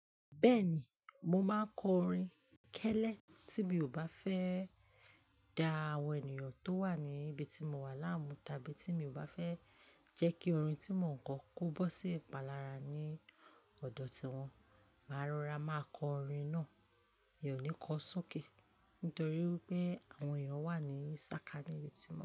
Bẹ́ẹ̀ni, mo máa ń kọ orin kẹ́lẹ́ tí mi ò bá fẹ́e da àwọn ènìyàn tó wà níbi tí mo wà láàmú tàbí tí mi ò bá fẹ́ jẹ́ kí orin tí mo ń kọ kó bó sí ìpalára ní ọ̀dọ̀ tí wọn. Rorá, máa kọ orin náà, mi ò ní kọo sókè nítorí pé àwọn ènìyàn wà ní sákání ibi tí mo.